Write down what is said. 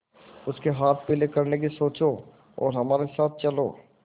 उसके हाथ पीले करने की सोचो और हमारे साथ चलो